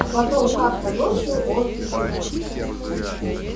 а потом как-то ночью он убежал